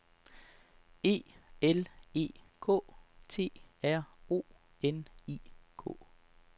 E L E K T R O N I K